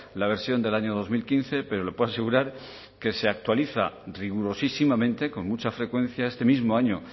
la versión del año dos mil quince pero le puedo asegurar que se actualiza rigurosísimamente con mucha frecuencia este mismo año